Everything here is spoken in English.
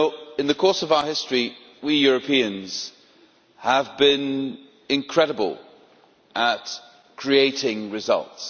In the course of history we Europeans have been incredible at creating results.